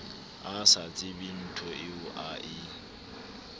a sa tsebenthoeo a e